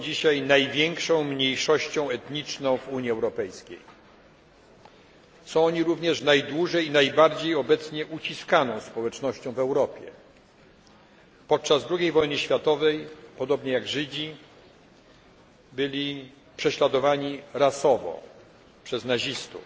są dzisiaj największą mniejszością etniczną w Unii Europejskiej. Są oni również obecnie najbardziej uciskaną społecznością w Europie. Podczas drugiej wojny światowej podobnie jak Żydzi byli prześladowani rasowo przez nazistów.